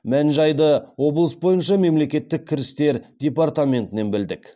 мән жайды облыс бойынша мемлекеттік кірістер департаментінен білдік